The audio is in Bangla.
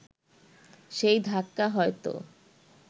সেই ধাক্কা হয়তো